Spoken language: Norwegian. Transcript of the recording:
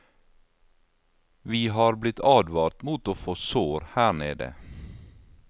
Vi har blitt advart mot å få sår her nede.